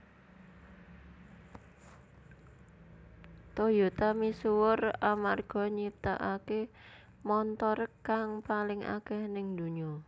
Toyota misuwur amarga nyiptakaké montor kang paling akèh ning dunya